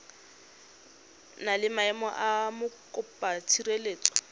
na le maemo a mokopatshireletso